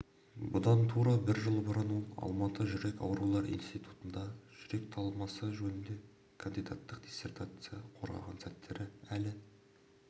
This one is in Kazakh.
бұдан тура бір жыл бұрын ол алматы жүрек аурулар институтында жүрек талмасы жөнінде кандидаттық диссертация қорғаған сәттері әлі